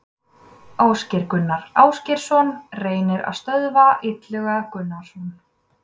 Ásgeir Gunnar Ásgeirsson reynir að stöðva Illuga Gunnarsson.